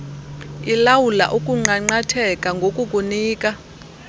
ilawula ukunqanqatheka ngokukunika